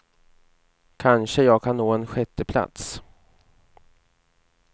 Kanske jag kan nå en sjätteplats.